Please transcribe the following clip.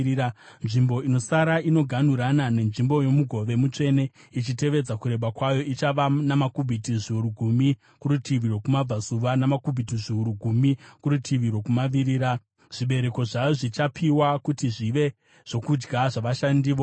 Nzvimbo inosara, inoganhurana nenzvimbo yomugove mutsvene ichitevedza kureba kwayo, ichava namakubhiti zviuru gumi kurutivi rwokumabvazuva, namakubhiti zviuru gumi kurutivi rwokumavirira. Zvibereko zvayo zvichapiwa kuti zvive zvokudya zvavashandi vomuguta.